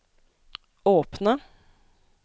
åpne